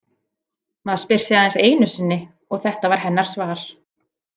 Maður spyr aðeins einu sinni og þetta var hennar svar.